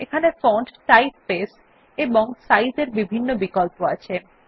এখানে font typeface এবং size এর বিভিন্ন বিকল্প আছে